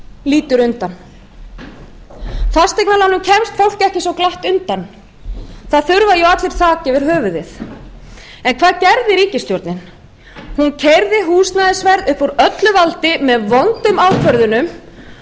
lítur undan fasteignalánum kemst fólk ekki svo glatt undan það þurfa jú allir þak yfir höfuðið en hvað gerði ríkisstjórnin hún keyrði húsnæðisverð upp úr öllu valdi með vondum ákvörðunum